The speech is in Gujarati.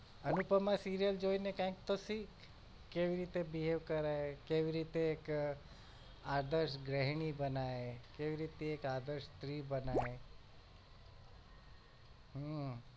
અનુપમાં serial જોઇને કઈક તો સીખ કેવી રીતે behave કરાય કેવી રીતે એક આદર્શ ગૃહિણી બનાય કેવી રીતે એક આદર્શ સ્ત્રી બનાય હમ